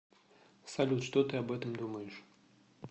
салют что ты об этом думаешь